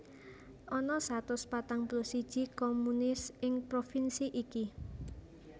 Ana satus patang puluh siji communes ing provinsi iki